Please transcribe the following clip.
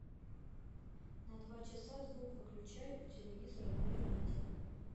на два часа звук выключай у телевизора на веранде